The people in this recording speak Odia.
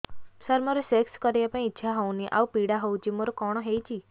ସାର ମୋର ସେକ୍ସ କରିବା ପାଇଁ ଇଚ୍ଛା ହଉନି ଆଉ ପୀଡା ହଉଚି ମୋର କଣ ହେଇଛି